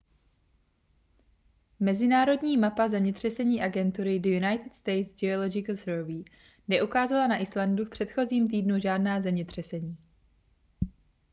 mezinárodní mapa zemětřesení agentury the united states geological survey neukázala na islandu v předchozím týdnu žádná zemětřesení